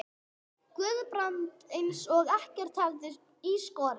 Guðbrand eins og ekkert hefði í skorist.